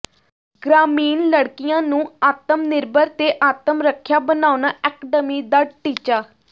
ਗ੍ਰਾਮੀਣ ਲੜਕੀਆਂ ਨੂੰ ਆਤਮਨਿਰਭਰ ਤੇ ਆਤਮਰੱਖਿਆ ਬਣਾਉਣਾ ਐਕਡਮੀ ਦਾ ਟੀਚਾ